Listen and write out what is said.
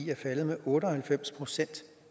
er faldet med otte og halvfems procent